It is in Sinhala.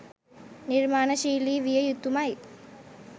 නිර්මාණශීලී විය යුතුමයි.